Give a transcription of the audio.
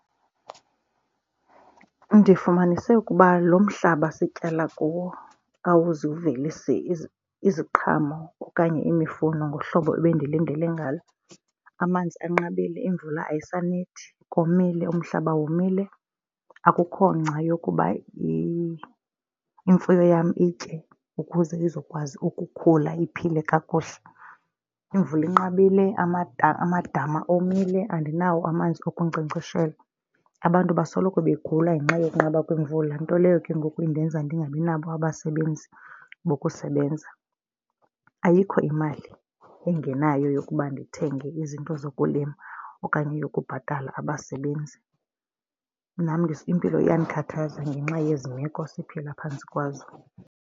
Ndifumanise ukuba lo mhlaba sityala kuwo awuzivelisi iziqhamo okanye imifuno ngohlobo ebendilindele ngalo. Amanzi anqabile, iimvula ayisanethi, komile umhlaba womile. Akukho ngca yokuba imfuyo yam itye ukuze izokwazi ukukhula iphile kakuhle. Imvula inqabile amadama omile, andinawo amanzi okunkcenkceshela. Abantu basoloko begula ngenxa yokunqaba kwemvula nto leyo ke ngoku indenza ndingabi nabo abasebenzi bokusebenza. Ayikho imali engenayo yokuba ndithenge izinto zokulima okanye yokubhatala abasebenzi. Nam impilo iyandikhathaza ngenxa yezi meko siphila phantsi kwazo.